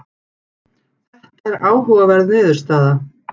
Þetta er áhugaverð niðurstaða.